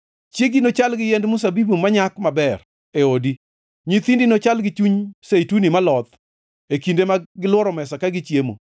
Chiegi nochal gi yiend mzabibu manyak maber e odi; nyithindi nochal gi chuny zeituni maloth e kinde ma gilworo mesa ka gichiemo.